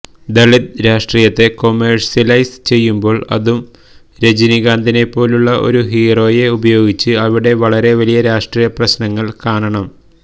ദളിത് രാഷ്ട്രീയത്തെ കൊമേഴ്സ്യലൈസ് ചെയ്യുമ്പോൾ അതും രജനീകാന്തിനെപ്പോലുള്ള ഒരു ഹീറോയെ ഉപയോഗിച്ച് അവിടെ വളരെ വലിയ രാഷ്ട്രീയ പ്രശ്നങ്ങൾ കാണണം